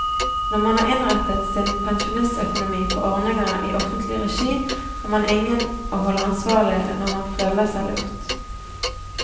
Når man har innrettet sin pensjonistøkonomi på ordninger i offentlig regi, har man ingen å holde ansvarlig når man føler seg lurt.